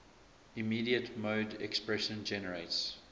immediate mode expression generates